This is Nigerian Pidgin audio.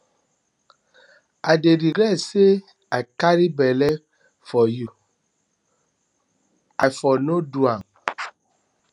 i dey regret say i carry bele for you bele for you i for no do am